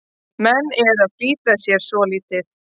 Menn eru að flýta sér svolítið.